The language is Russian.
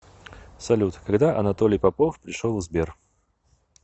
салют когда анатолий попов пришел в сбер